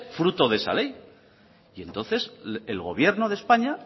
fruto de esa ley y entonces el gobierno de españa